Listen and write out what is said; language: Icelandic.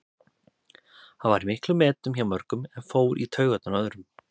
Hann var í miklum metum hjá mörgum en fór í taugarnar á öðrum.